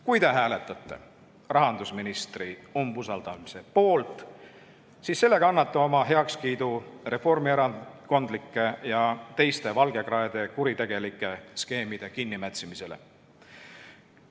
Kui te hääletate rahandusministri umbusaldamise poolt, siis sellega annate oma heakskiidu reformierakondlike ja teiste valgekraede kuritegelike skeemide kinnimätsimisele.